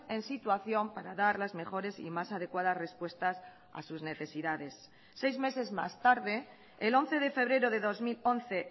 en situación para dar las mejores y más adecuadas respuestas a sus necesidades seis meses más tarde el once de febrero de dos mil once